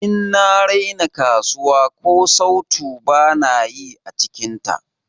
In na raina kasuwa, ko sautu bana yi ã cikin ta.